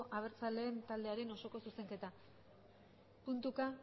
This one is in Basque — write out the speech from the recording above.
abertzaleak taldearen osoko zuzenketa puntuka